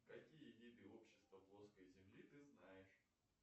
какие виды общества плоской земли ты знаешь